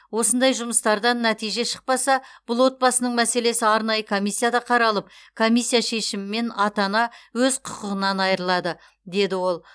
осындай жұмыстардан нәтиже шықпаса бұл отбасының мәселесі арнайы комиссияда қаралып комиссия шешімімен ата ана өз құқығынан айырылады деді ол